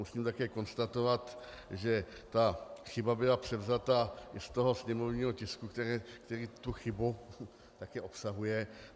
Musím také konstatovat, že ta chyba byla převzata už z toho sněmovního tisku, který tu chybu také obsahuje.